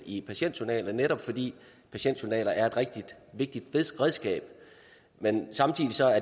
i patientjournaler netop fordi patientjournaler er et rigtig vigtigt redskab men